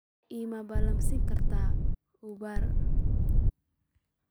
ma ii ballansan kartaa uber